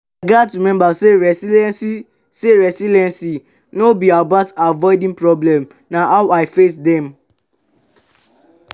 i gats remember say resilience say resilience no be about avoiding problems; na how i face dem.